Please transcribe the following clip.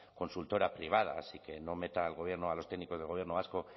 consultora privada así que no meta al gobierno a los técnicos del gobierno vasco